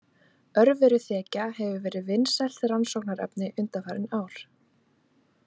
Örveruþekja hefur verið vinsælt rannsóknarverkefni undanfarin ár.